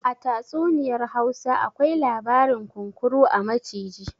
A tatsuniyar Hausa akwai labarin kunkuru a maciji